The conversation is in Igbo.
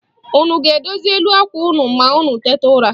Unu ga-edozi elu àkwà unu ma unu tete n'ụra?